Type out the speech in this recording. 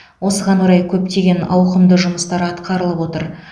осыған орай көптеген ауқымды жұмыстар атқарылып отыр